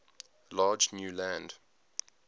large new land